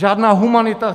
Žádná humanita.